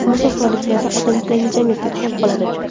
Musofirlikda odam yangi jamiyatga tushib qoladi.